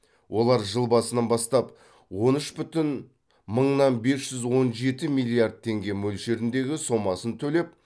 олар жыл басынан бастап он үш бүтін мыңнан бес жүз он жеті миллиард теңге мөлшеріндегі сомасын төлеп